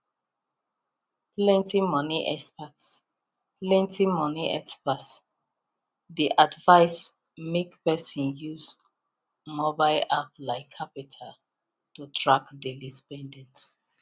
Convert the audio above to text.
plenty money experts plenty money experts dey advise make person use mobile app like qapital to track daily spendings